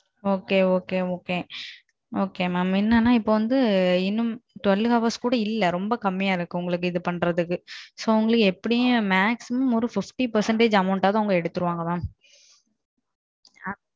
Ok OK Ok ma'am என்னனா இப்போ வந்து இன்னும் பண்ணெண்டு மணிநேரத்துக்கு கூட இல்ல ரொம்ப கம்மியா இருக்கு உங்களுக்கு பண்றதுக்கு So எப்படியும் maximum ஐம்பது சதவீதம் Amount எடுத்துறவங்க.